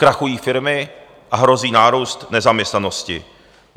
Krachují firmy a hrozí nárůst nezaměstnanosti.